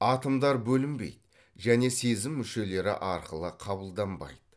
атомдар бөлінбейді және сезім мүшелері арқылы қабылданбайды